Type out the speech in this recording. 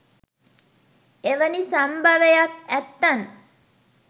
එවනි සම්භවයක් ඇත්තන්